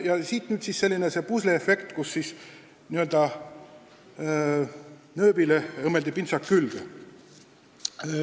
Ja siit nüüd selline pusleefekt: n-ö nööbile õmmeldi pintsak külge.